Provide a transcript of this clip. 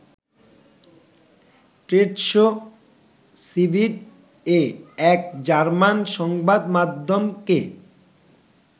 trade show ‘সিবিট’-এ এক German সংবাদমাধ্যমকে